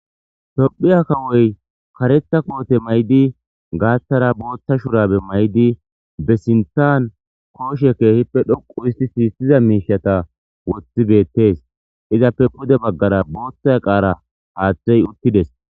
Tophiya kawoy karetha koote may'di gaathara booththa shurabe may'di be sinthan kooshe keehippe dhoqu isti siissiza miishata wothi beettes izappe pude baggara booththay qaara haaththey uttides.